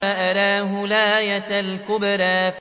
فَأَرَاهُ الْآيَةَ الْكُبْرَىٰ